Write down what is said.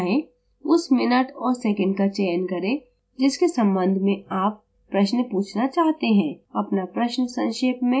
उस minute और second का चयन करें जिसके संबंध में आप प्रश्न पूछना चाहते हैं अपना प्रश्न संक्षेप में बताएँ